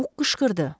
Bu qışqırdı.